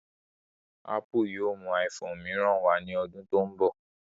Ápù yóò mú iphone mìíràn wá ní ọdún tó ń bọ̀